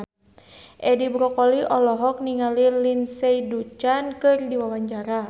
Edi Brokoli olohok ningali Lindsay Ducan keur diwawancara